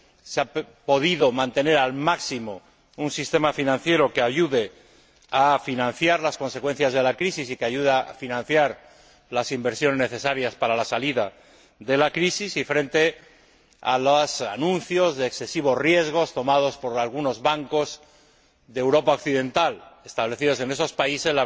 se ha podido mantener al máximo un sistema financiero que ayude a financiar las consecuencias de la crisis y que ayude a financiar las inversiones necesarias para la salida de la crisis, y frente a los anuncios de excesivos riesgos tomados por algunos bancos de Europa Occidental establecidos en esos países.